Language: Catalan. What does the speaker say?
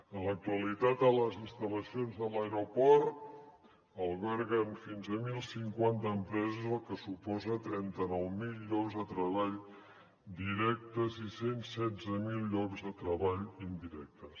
en l’actualitat les instal·lacions de l’aeroport alberguen fins a deu cinquanta empreses cosa que suposa trenta nou mil llocs de treball directes i cent i setze mil llocs de treball indirectes